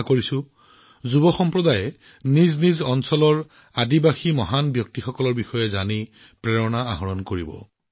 আশা কৰোঁ দেশৰ অধিক সংখ্যক যুৱকে নিজৰ অঞ্চলৰ জনজাতীয় ব্যক্তিত্বৰ বিষয়ে জানিব আৰু তেওঁলোকৰ পৰা প্ৰেৰণা লব